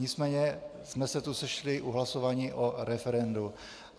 Nicméně jsme se tu sešli u hlasování o referendu.